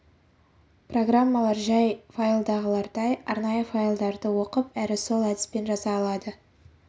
программалар жай файлдағылардай арнайы файлдарды оқып әрі сол әдіспен жаза алады